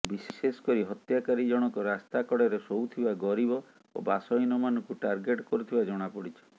ବିଶେଷକରି ହତ୍ୟାକାରୀଜଣଙ୍କ ରାସ୍ତାକଡ଼ରେ ଶୋଉଥିବା ଗରିବ ଓ ବାସହୀନମାନଙ୍କୁ ଟାର୍ଗେଟ୍ କରୁଥିବା ଜଣାପଡିଛି